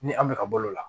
Ni an bɛ ka balo o la